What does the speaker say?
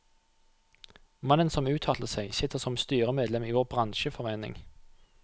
Mannen som uttalte seg, sitter som styremedlem i vår bransjeforening.